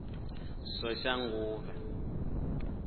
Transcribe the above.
soshanguve